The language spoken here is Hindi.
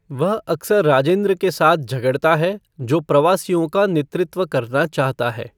वह अक्सर राजेंद्र के साथ झगड़ता है, जो प्रवासियों का नेतृत्व करना चाहता है।